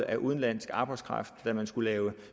af udenlandsk arbejdskraft da man skulle lave